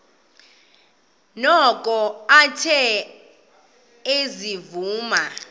noko athe ezivuma